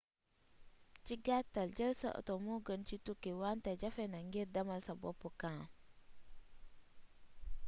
ci gattal dieul sa auto mo geun ci touki wanté jaféna ngir demal sa boop camp